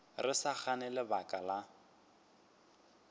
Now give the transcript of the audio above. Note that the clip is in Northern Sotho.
re sa gane lebaka la